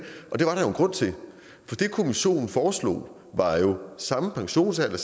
grund til for det kommissionen foreslog var jo samme pensionsalder